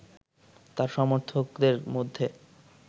তার সমর্থকদের মধ্যে